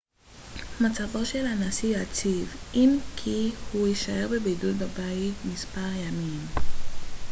מצבו של הנשיא יציב אם כי הוא יישאר בבידוד בבית מספר ימים